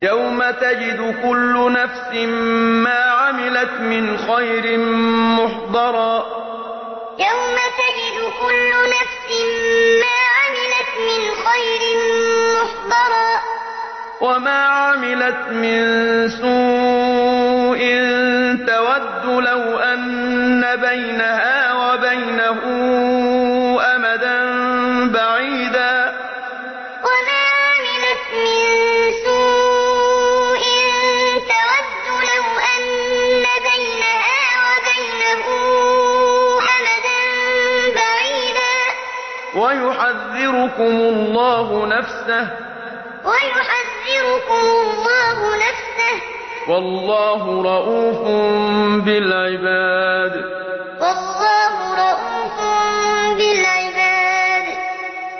يَوْمَ تَجِدُ كُلُّ نَفْسٍ مَّا عَمِلَتْ مِنْ خَيْرٍ مُّحْضَرًا وَمَا عَمِلَتْ مِن سُوءٍ تَوَدُّ لَوْ أَنَّ بَيْنَهَا وَبَيْنَهُ أَمَدًا بَعِيدًا ۗ وَيُحَذِّرُكُمُ اللَّهُ نَفْسَهُ ۗ وَاللَّهُ رَءُوفٌ بِالْعِبَادِ يَوْمَ تَجِدُ كُلُّ نَفْسٍ مَّا عَمِلَتْ مِنْ خَيْرٍ مُّحْضَرًا وَمَا عَمِلَتْ مِن سُوءٍ تَوَدُّ لَوْ أَنَّ بَيْنَهَا وَبَيْنَهُ أَمَدًا بَعِيدًا ۗ وَيُحَذِّرُكُمُ اللَّهُ نَفْسَهُ ۗ وَاللَّهُ رَءُوفٌ بِالْعِبَادِ